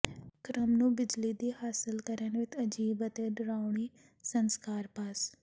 ਕ੍ਰਮ ਨੂੰ ਬਿਜਲੀ ਦੀ ਹਾਸਲ ਕਰਨ ਵਿਚ ਅਜੀਬ ਅਤੇ ਡਰਾਉਣੀ ਸੰਸਕਾਰ ਪਾਸ